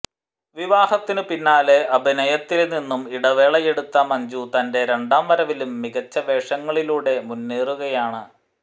വിവാഹത്തിനു പിന്നാലെ അഭിനയത്തില് നിന്നും ഇടവേള എടുത്ത മഞ്ജു തന്റെ രണ്ടാം വരവിലും മികച്ച വേഷങ്ങളിലൂടെ മുന്നേറുകയാണ്